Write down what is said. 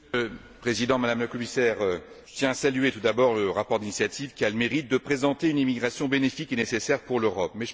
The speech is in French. Monsieur le Président, Madame la Commissaire, je tiens à saluer tout d'abord le rapport d'initiative, qui a le mérite de présenter une immigration bénéfique et nécessaire pour l'Europe.